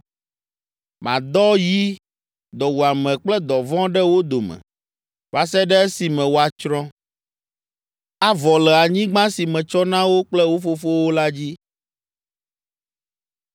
Madɔ yi, dɔwuame kple dɔvɔ̃ ɖe wo dome va se ɖe esime woatsrɔ̃, avɔ le anyigba si metsɔ na wo kple wo fofowo la dzi.’ ”